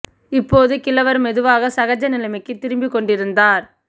இப்போது கிழவர் மெதுவாக சகஜ நிலைமைக்கு திரும்பிக் கொண்டிருந்தார்